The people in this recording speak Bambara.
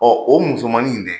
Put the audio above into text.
Ɔ o musomamaninw dɛ